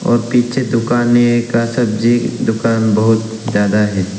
और पीछे दुकानें का सब्जी दुकान बहुत ज्यादा है।